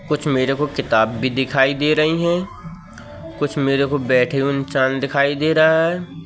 कुछ मेरे को किताब भी दिखाई दे रही है। कुछ मेरे को बैठे हुए इंसान दिखाई दे रहा है।